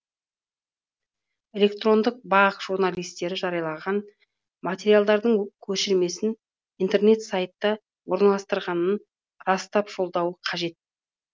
электрондық бақ журналистері жарияланған материалдардың көшірмесін интернет сайтта орналастырылғанын растап жолдауы қажет